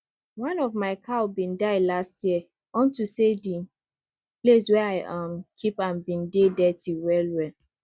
one of my small cow been die last year unto say the place wey i um keep am been dey dirty well well